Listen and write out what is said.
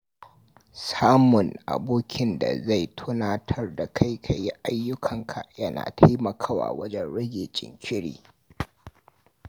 Samun abokin da zai tunatar da kai ka yi ayyukanka yana taimakawa wajen rage jinkiri.